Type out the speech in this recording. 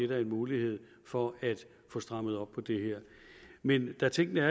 være en mulighed for at få strammet op på det her men da tingene